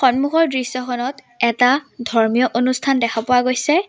সন্মুখৰ দৃশ্যখনত এটা ধৰ্মীয় অনুষ্ঠান দেখা পোৱা গৈছে।